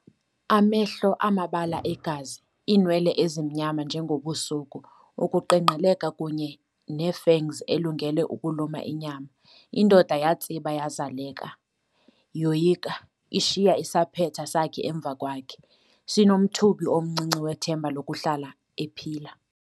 Amehlo amabala egazi, iinwele ezimnyama njengobusuku, ukuqengqeleka kunye ne-fangs elungele ukuluma inyama. Indoda yatsiba yazaleka, yoyika, ishiya isaphetha sakhe emva kwakhe, sinomthubi omncinci wethemba lokuhlala ephila.